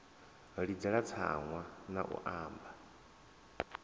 ḽidzela tsaṅwa na u anba